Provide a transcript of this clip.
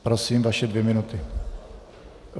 Prosím, vaše dvě minuty.